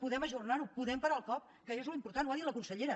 podem ajornar ho podem parar el cop que és l’important ho ha dit la consellera